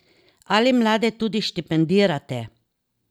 Ali mlade tudi štipendirate?